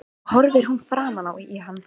Nú horfir hún framan í hann.